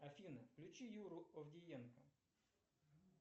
афина включи юру овдиенко